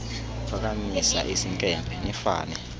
uphakamisa isinkempe nifane